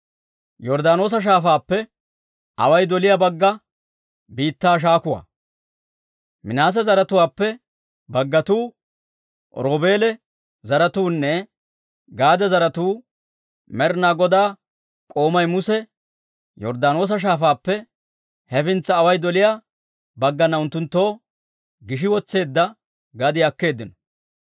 Minaase zaratuwaappe baggatuu, Roobeela zaratuunne Gaade zaratuu Med'ina Godaa k'oomay Muse Yorddaanoosa Shaafaappe hefintsa away doliyaa baggana unttunttoo gishi wotseedda gadiyaa akkeeddino.